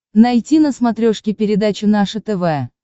найти на смотрешке передачу наше тв